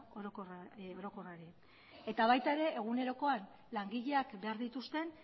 orokorrari eta baita ere egunerokoan langileak behar dituzten